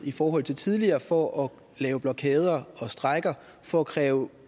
i forhold til tidligere for at lave blokader og strejker for at kræve